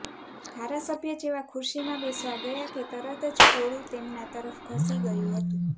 ધારાસભ્ય જેવા ખુરશીમાં બેસવા ગયા કે તરત જ ટોળું તેમના તરફ ધસી ગયું હતું